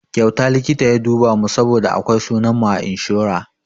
Kyauta likita ya duba mu saboda akwai sunan mu a inshora.